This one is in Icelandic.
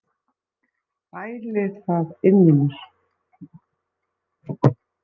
Bæli það inni í mér.